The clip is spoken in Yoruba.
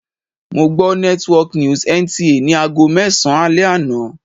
Mo gbọ́ network news NTA ni aago mẹ́sàn-an alẹ́ àná.